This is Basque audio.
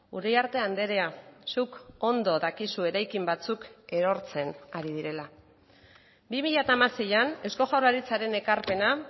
uriarte andrea zuk ondo dakizu eraikin batzuk erortzen ari direla bi mila hamaseian eusko jaurlaritzaren ekarpena